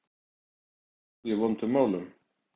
En nú er ég í vondum málum.